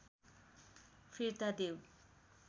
फिर्ता देऊ